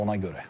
Ona görə.